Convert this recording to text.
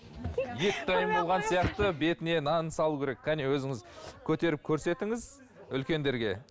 бетіне нанын салу керек кәне өзіңіз көтеріп көрсетіңіз үлкендерге